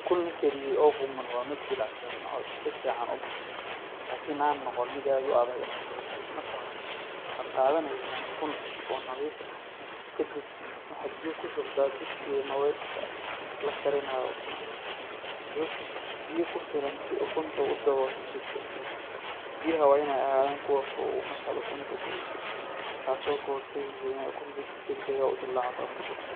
Ukun la kariyey oo qumman waa mid jilicsan oo si fiican u bisil, laakiin aan noqon mid aad u adag ama gubtay. Marka hore, waxaad qaadanaysaa ukun cusub oo nadiif ah. Kadib, waxaad biyo ku shubtaa digsiga ama weelka la karinayo ukunta, biyo ku filan si ukuntu ku daboosho si buuxda. Biyaha waa inay ahaadaan kuwo qabow markaad ukunta geliso, taasoo ka hortagaysa inay ukunta si degdeg ah u dillaacdo ama jabto.